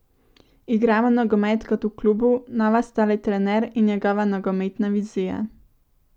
Igramo nogomet kot v klubu, nova sta le trener in njegova nogometna vizija.